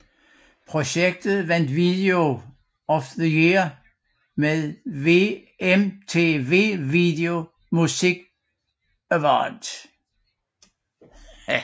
Projektet vandt Video of the Year ved MTV Video Music Award